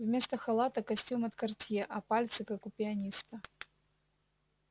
вместо халата костюм от картье а пальцы как у пианиста